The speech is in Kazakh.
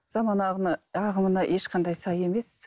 заман ағымына ағымына ешқандай сай емес